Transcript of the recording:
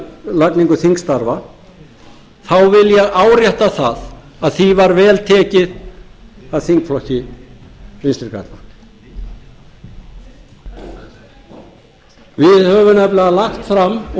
endurskipulagningu þingstarfa þá vil ég árétta að því var vel tekið af þingflokki vinstri grænna við höfum nefnilega lagt fram og